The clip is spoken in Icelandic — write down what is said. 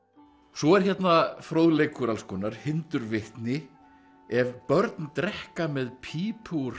svo er hérna fróðleikur alls konar hindurvitni ef börn drekka með pípu úr